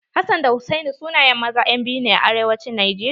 Hassan da Hussaini sunayen maza 'yan biyu ne a arewacin najeriya.